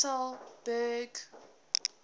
sasolburg